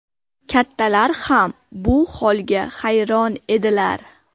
Kattalar ham bu holga hayron edilar.